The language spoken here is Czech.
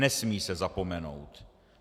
Nesmí se zapomenout.